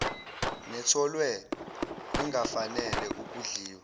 netholwe ingafanele ukudliwa